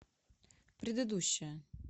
предыдущая